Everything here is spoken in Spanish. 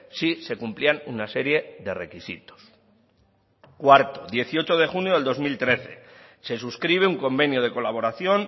si se cumplían una serie de requisitos cuarto dieciocho de junio de dos mil trece se suscribe un convenio de colaboración